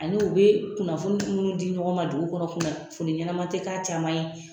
Ani u bɛ kunnafoni minnu di ɲɔgɔn ma dugu kɔnɔ kunnafoni ɲɛnama tɛ k'a caman ye